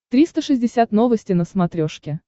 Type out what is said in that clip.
триста шестьдесят новости на смотрешке